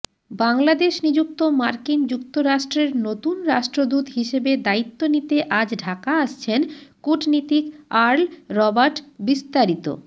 বাংলাদেশ নিযুক্ত মার্কিন যুক্তরাষ্ট্রের নতুন রাষ্ট্রদূত হিসেবে দায়িত্ব নিতে আজ ঢাকা আসছেন কূটনীতিক আর্ল রবার্টবিস্তারিত